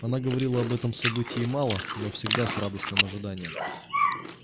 она говорила об этом событии мало но всегда с радостным ожиданием